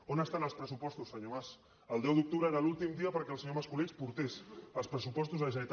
on estan els pressupostos senyor mas el deu d’octubre era l’últim dia perquè el senyor mascolell portés els pressupostos de la generalitat